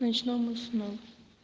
ночному сну